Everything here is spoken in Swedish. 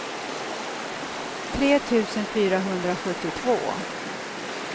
tre tusen fyrahundrasjuttiotvå